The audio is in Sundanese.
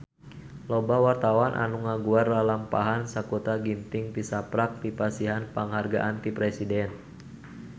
Loba wartawan anu ngaguar lalampahan Sakutra Ginting tisaprak dipasihan panghargaan ti Presiden